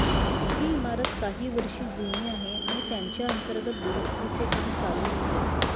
ही इमारत काही वर्ष जुनी आहे आणि त्याच्या अंतर्गत दुरुस्तीचे काम चालू होते